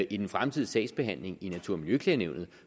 i den fremtidige sagsbehandling i natur og miljøklagenævnet